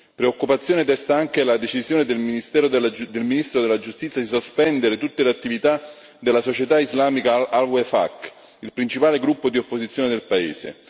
Preoccupazione desta anche la decisione del Ministro della Giustizia di sospendere tutte le attività della società islamica Al Wefaq, il principale gruppo di opposizione del Paese.